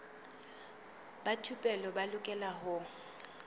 ba thupelo ba lokela ho